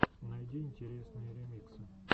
найди интересные ремиксы